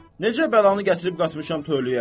Necə bəlanı gətirib qatmışam töləyə?